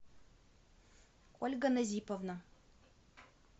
ольга назиповна